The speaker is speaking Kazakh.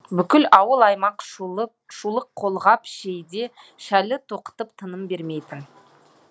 бүкіл ауыл аймақ шұлық қолғап жейде шәлі тоқытып тыным бермейтін